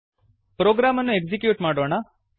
program ಅನ್ನು execute ಮಾಡೋಣ